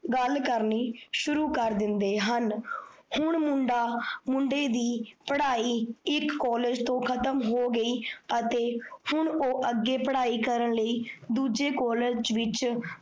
ਗੱਲ ਕਰਨੀ ਸ਼ੁਰੂ ਕਰ ਦਿੰਦੇ ਹਨ। ਹੁਣ ਮੁੰਡਾ ਮੁੰਡੇ ਦੀ ਪੜਾਈ ਇੱਕ college ਤੋਂ ਖਤਮ ਹੋ ਗਈ, ਅਤੇ ਹੁਣ ਓਹ ਅੱਗੇ ਪੜਾਈ ਕਰਨ ਲਈ ਦੂਜੇ college ਵਿੱਚ ਗੱਲ ਕਰਨੀ ਸ਼ੁਰੂ ਕਰ ਦਿੰਦੇ ਹਨ।